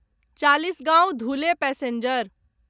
Chalisgaon Dhule passenger